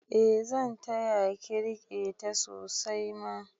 Eh zan taya ki rike ta sosai ma